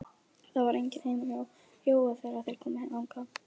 Það var enginn heima hjá Jóa þegar þeir komu þangað.